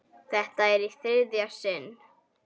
Þetta er í þriðja sinn.